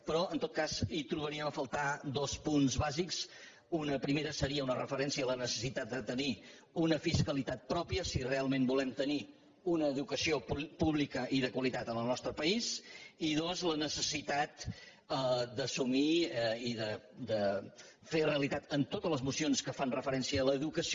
però en tot cas hi trobaríem a faltar dos punts bàsics un primer seria una referència a la necessitat de tenir una fiscalitat pròpia si realment volem tenir una educació pública i de qualitat en el nostre país i dos la necessitat d’assumir i de fer realitat en totes les mocions que fan referència a l’educació